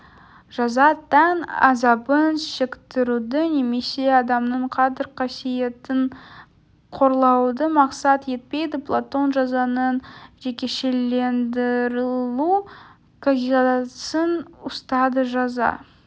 жаза тән азабын шектіруді немесе адамның қадір-касиетін қорлауды мақсат етпейді платон жазаның жекешелендірілу қағидасын ұстады жаза